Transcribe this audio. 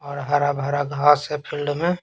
हरा भरा घास है फील्ड में।